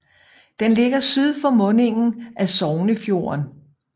Den ligger syd for mundingen af Sognefjorden